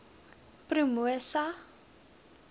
promosa